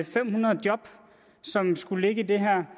fem hundrede job som skulle ligge i det her